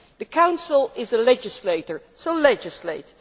The Council is a legislator, so legislate.